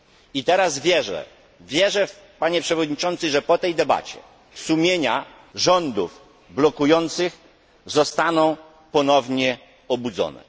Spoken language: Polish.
I teraz wierzę, wierzę, Panie Przewodniczący, że po tej debacie sumienia rządów blokujących zostaną ponownie obudzone.